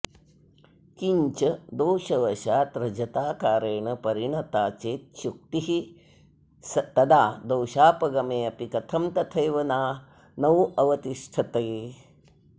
किञ्च दोषवशाद्रजताकारेण परिणता चेच्छुक्तिः तदा दोषापगमेऽपि कथं तथैव नावतिष्ठते